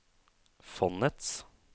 fondets